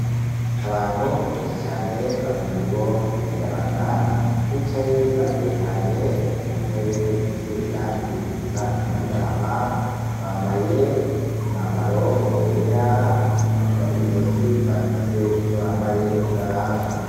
Abantu benshi cane bamwe muribo ni imiyabaga bicaye batekanye muntebe zifise irangi risa n' agahama bambaye umwambaro wera no mwizosi barafise ivyo bambaye bibaranga.